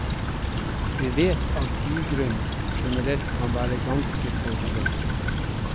Vi vet at bygrunn generelt kan være ganske forurenset.